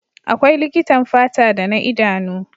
Akwai likitan fata da na idanu.